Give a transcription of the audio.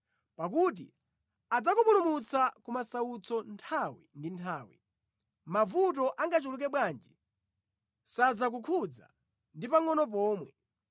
Pakuti adzakupulumutsa ku masautso nthawi ndi nthawi, mavuto angachuluke bwanji, sadzakukhudza ndi pangʼono pomwe.